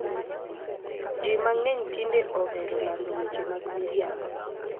Ji mang'eny tinde ohero lando weche mag miriambo.